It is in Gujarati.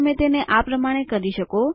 તો તમે તેને આ પ્રમાણે કરી શકો